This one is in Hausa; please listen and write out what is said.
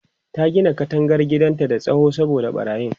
ta Gina katangar gidan da tsawo saboda ɓarayin